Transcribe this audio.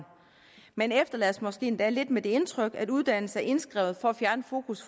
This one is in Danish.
man efterlades måske endda lidt med det indtryk at uddannelse er indskrevet for at fjerne fokus